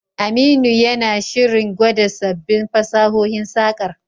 Aminu yana shirin gwada sabbin fasahohin saƙar.